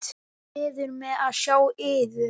Gleður mig að sjá yður.